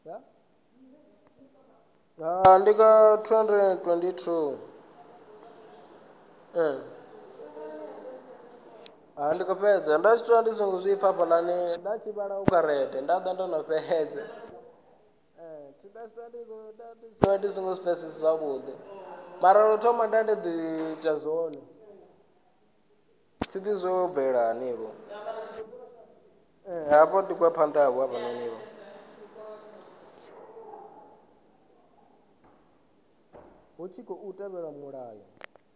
hu tshi khou tevhelwa mulayo